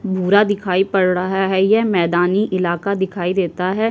दिखाई पड़ रहा है। यह मैदानी इलाका दिखाई देता है।